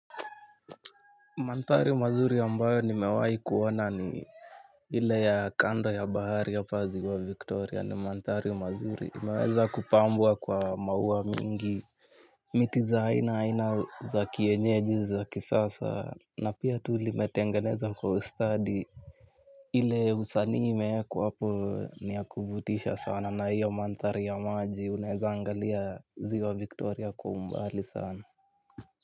Mandhari mazuri ambayo nimewai kuona ni ile ya kando ya bahari hapa ziwa victoria ni mandhari mazuri imeweza kupambwa kwa mauwa mingi miti za aina aina za kienyeji za kisasa na pia tu limetengenezwa kwa ustadi. Ile usanii imeekwa hapo ni ya kuvutisha sana na hiyo mandhari ya maji uneza angalia ziwa victoria kwa umbali sana.